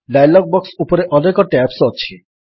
dialog box ଉପରେ ଅନେକ tabs ଅଛି